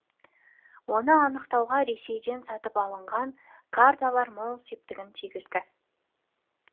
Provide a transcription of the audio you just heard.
оны анықтауға ресейден сатып алынған карталар мол септігін тигізді